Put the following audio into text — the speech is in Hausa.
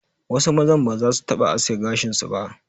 Wasu mazan ba zasu taɓa aske gashin su ba.